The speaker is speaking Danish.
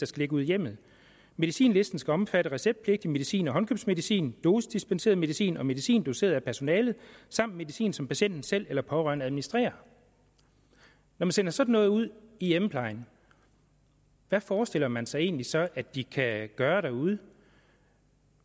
skal ligge ude i hjemmet medicinlisten skal omfatte receptpligtig medicin og håndkøbsmedicin dosisdispenseret medicin og medicin doseret af personalet samt medicin som patienten selv eller pårørende administrerer når man sender sådan noget ud i hjemmeplejen hvad forestiller man sig egentlig så at de kan gøre derude